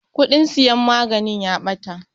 Kuɗin siyan maganin ya ɓata.